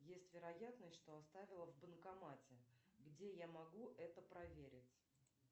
есть вероятность что оставила в банкомате где я могу это проверить